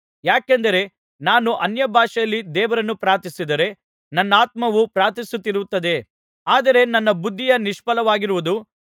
ಯಾಕೆಂದರೆ ನಾನು ಅನ್ಯಭಾಷೆಯಲ್ಲಿ ದೇವರನ್ನು ಪ್ರಾರ್ಥಿಸಿದರೆ ನನ್ನಾತ್ಮವು ಪ್ರಾರ್ಥಿಸುತ್ತಿರುತ್ತದೆ ಆದರೆ ನನ್ನ ಬುದ್ಧಿಯು ನಿಷ್ಫಲವಾಗಿರುವುದು